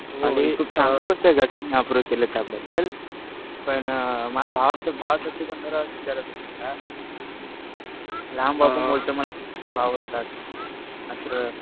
हो. खूप चांगली गोष्ट आहे घरच्यांनी अप्रूव्ह केलं त्याबद्दल. पण माझ्या भावाचं भावासाठी पण जरा विचारायचं होतं तुला. लहान भाऊ म्हणतो मला गेम खूप आवडतात असं.